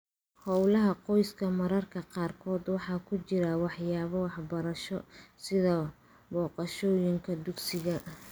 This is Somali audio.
Hawlaha qoyska mararka qaarkood waxaa ku jira waxyaabo waxbarasho, sida booqashooyinka dugsiga.